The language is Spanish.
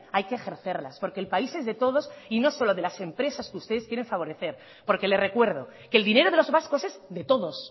hay que ejercerlas porque el país es de todos y no solo de las empresas que ustedes quieren favorecer porque le recuerdo que el dinero de los vascos es de todos